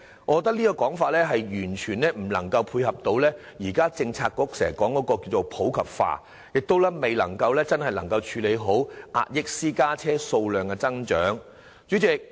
我認為這說法完全無法配合政策局經常提出的普及化的目標，亦未能真正妥善處理壓抑私家車數量增長的訴求。